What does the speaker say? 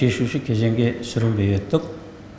шешуші кезеңге сүрінбей өттік